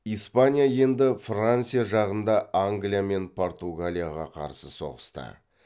испания енді франция жағында англия мен португалияға қарсы соғысты